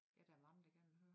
Ja der mange der gerne vil høre